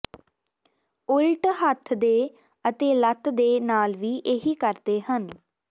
ਉਲਟ ਹੱਥ ਦੇ ਅਤੇ ਲੱਤ ਦੇ ਨਾਲ ਵੀ ਇਹੀ ਕਰਦੇ ਹਨ